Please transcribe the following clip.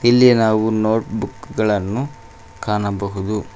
ಇಲ್ಲಿ ನಾವು notebook ಗಳನ್ನು ಕಾಣಬಹುದು.